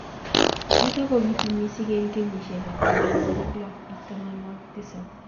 Nitok kobitu missing eng kenyishek ab tamanwagik lo ak tamanwagik tisab.